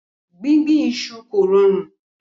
Gbígbìn iṣu kò rọrùn.